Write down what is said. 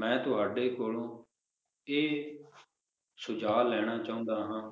ਮੈ ਤੁਹਾਡੇ ਕੋਲੋਂ ਇਹ ਸੁਝਾਅ ਲੈਣਾ ਚਾਹੁੰਦਾ ਹਾਂ